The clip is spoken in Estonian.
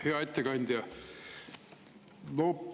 Hea ettekandja!